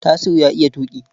Tasiu ya iya tuƙi.